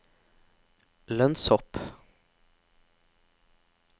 lønnshopp